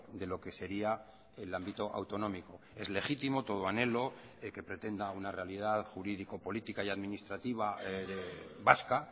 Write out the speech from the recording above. de lo que sería el ámbito autonómico es legítimo todo anhelo que pretenda una realidad jurídico política y administrativa vasca